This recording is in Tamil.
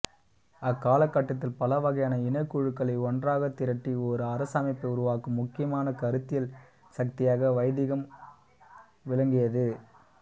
அக்காலகட்டத்தில் பலவகையான இனக்குழுக்களை ஒன்றாகத்திரட்டி ஓர் அரசமைப்பை உருவாக்கும் முக்கியமான கருத்தியல் சக்தியாக வைதிகம் விளங்கியது